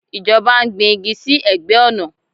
Ìjọba ń gbin igi sí ẹ̀gbẹ́ ọ̀nà.